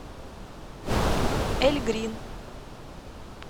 эльгрин